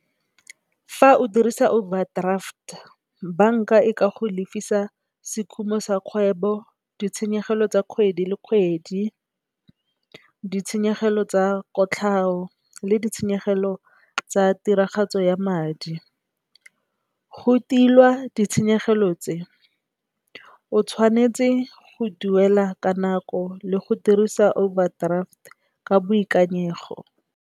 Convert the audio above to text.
Fa o dirisa overdraft, banka e ka go lefisa sekhumo sa kgwebo, ditshenyegelo tsa kgwedi le kgwedi, ditshenyegelo tsa kotlhao le ditshenyegelo tsa tiragatso ya madi. Go tila ditshenyegelo tse o tshwanetse go duela ka nako le go dirisa overdraft ka boikanyego.